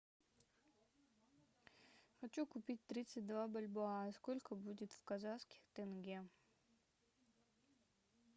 хочу купить тридцать два бальбоа сколько будет в казахских тенге